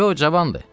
Yox, cavandır.